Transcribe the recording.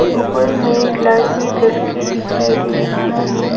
ऊपर में लाइट भी जल के दिखाई दे रहा है।